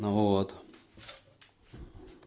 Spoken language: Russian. ну вот